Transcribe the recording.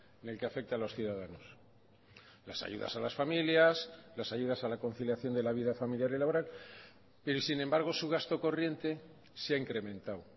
en el que afecta a los ciudadanos las ayudas a las familias las ayudas a la conciliación de la vida familiar y laboral pero sin embargo su gasto corriente se ha incrementado